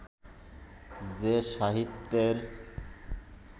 যে সাহিত্যের